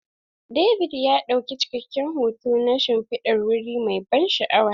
David ya ɗauki cikakken hoto na shimfidar wuri mai ban sha'awa.